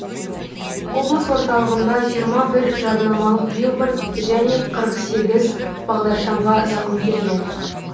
облыс орталығында жиырма бір жарнамалық билборд және қырық сегіз бағдаршамға зақым келген